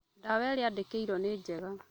Ndawa iria aandĩkĩirwo nĩ njega